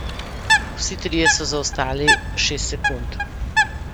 Vsi trije so zaostali šest sekund.